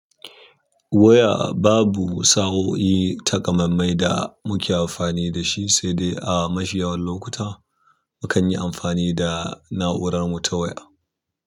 Waya babu sa'o'i takamammai da muke amfani da shi, sai dai a mashiyawar lokuta mukan yi amfani da na'urar mu ta waya.